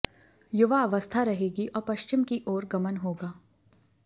युवा अवस्था रहेगी और पश्चिम की ओर गमन होगा